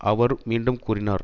அவர் மீண்டும் கூறினார்